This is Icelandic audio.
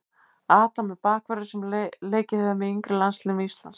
Adam er bakvörður sem leikið hefur með yngri landsliðum Íslands.